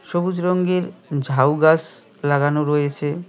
সবুজ রঙ্গের ঝাউ গাস লাগানো রয়েছে।